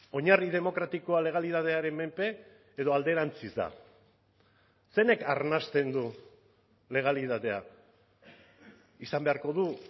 oinarri demokratikoa legalitatearen menpe edo alderantziz da zeinek arnasten du legalitatea izan beharko du